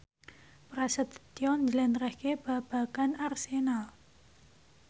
Prasetyo njlentrehake babagan Arsenal